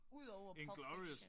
Udover Pulp Fiction